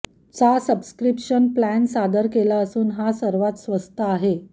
चा subscription plan सादर केला असून हा सर्वात स्वस्त आहे